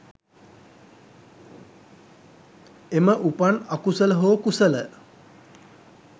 එම උපන් අකුසල හෝ කුසල